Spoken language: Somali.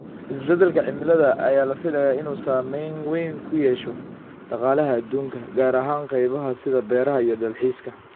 Isbedelka cimilada ayaa la filayaa inuu saameyn weyn ku yeesho dhaqaalaha adduunka, gaar ahaan qaybaha sida beeraha iyo dalxiiska.